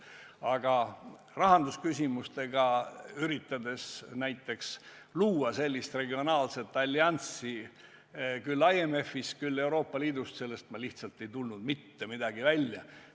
Aga kui näiteks rahandusküsimustes üritati luua sellist regionaalset alliansi kas IMF-is või Euroopa Liidus, siis sellest lihtsalt ei tulnud mitte midagi välja.